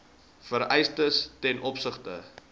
vereistes ten opsigte